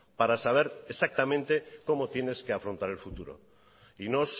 para saber exactamente cómo tienes que afrontar el futuro y no